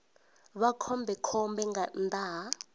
vha khombekhombe nga nnḓa ha